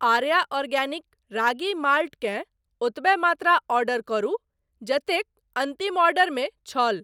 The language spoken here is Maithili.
आर्या आर्गेनिक रागी माल्ट केँ ओतबे मात्रा ऑर्डर करू जतेक अन्तिम ऑर्डरमे छल।